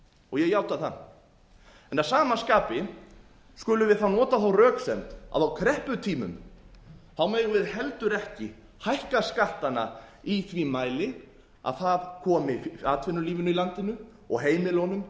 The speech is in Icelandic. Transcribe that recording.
og ég játa það að sama skapi skulum við þá nota þá röksemd að á krepputímum megum við heldur ekki hækka skattana í þeim mæli að það komi atvinnulífinu í landinu og heimilunum